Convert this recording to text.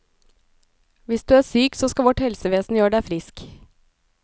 Hvis du er syk, så skal vårt helsevesen gjør deg frisk.